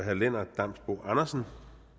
herre lennart damsbo andersen